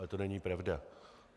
Ale to není pravda.